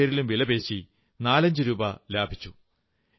അതിന്റെ പേരിലും വിലപേശി 45 രൂപ ലാഭിച്ചു